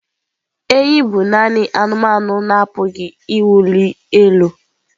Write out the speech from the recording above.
Enyí bụ nanị anụmanụ na-apụghị ịwụli elu.